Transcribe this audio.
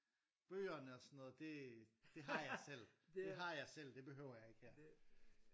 Bøgerne og sådan det det har jeg selv. Det har jeg selv det behøver jeg ikke her